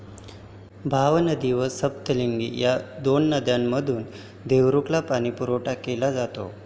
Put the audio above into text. भावनदी व सप्तलिंगी या दोन नद्यांमधून देवरुखला पाणीपुरवठा केला जातो.